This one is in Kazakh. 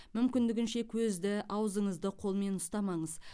мүмкіндігінше көзді аузыңызды қолмен ұстамаңыз